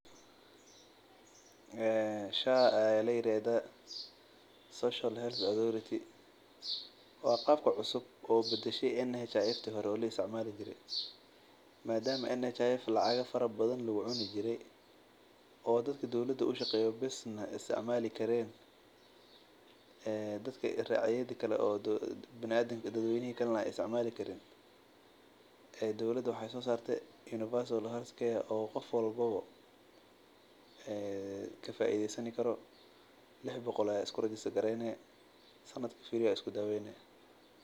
Sha ayaa ladahaa waa qabka cusub oo badashe mida kale madama lacag badan lagu cuni jire oo dadka dowlada ushaqeeyo bes lagu daween jire shan boqol bes ayaa bixine waa isku daweyni.